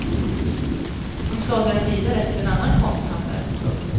Som sålde den vidare till en annan konsthandlare. punkt